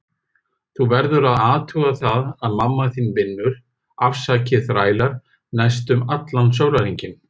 Þú verður að athuga það að mamma þín vinnur, afsakið þrælar, næstum allan sólarhringinn.